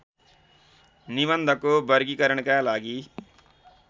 निबन्धको वर्गीकरणका लागि